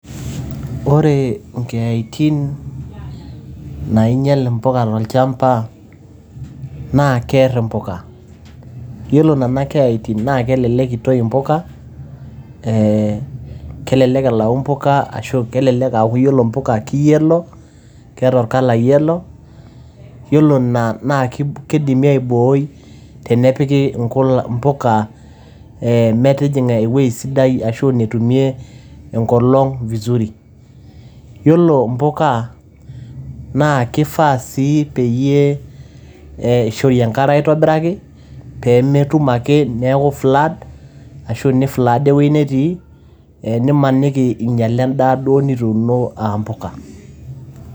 Ore inkeeyatin naainyal impuka tolchamba naa kear impuka. Iyiolo inena keeyatin naa kelelek naa keitoi impuka, Kelelek aa keaku impuka keiyellow, iyiolo ina naa keidimi aiboi tenepiki impuka, metijinga eweji sidai ashu enetumie enkolong vizuri. Iyiolo impuka naa keifaa sii peyie eishori enkare aitobiraki, pee metum ake neaku flood ashu neiflooda ine weji netii, nimaniki einyae endaa duo nituuno aa impuka.